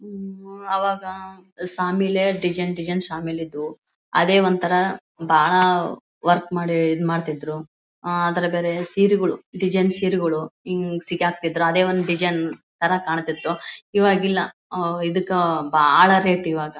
ಹಮ್ಮ್ ಆವಾಗ ಶಾಮಿಲೇ design design ಶಾಮಿಲೇ ಇದ್ವು ಅದೇ ಒಂಥರಾ ಬಹಳ ವರ್ಕ್ ಮಾಡಿ ಇದು ಮಾಡ್ತಿದ್ರು ಅದರಮೇಲೆ ಸೀರೆಗಳು ಡಿಸೈನ್ ಸೀರೆಗಳು ಹೀಗ್ ಸಿಗಾಕ್ತಿದ್ರು ಅದೇ ಒಂದು ಡಿಜೈನ್ ತರ ಕಾಣ್ತಿತ್ತು ಇವಾಗ್ ಇಲ್ಲ ಆ ಇದುಕ್ಕ ಬಾಳ ರೇಟ್ ಇವಾಗ.